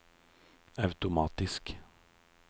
automatisk